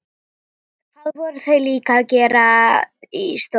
Hvað voru þau líka að gera í stólnum?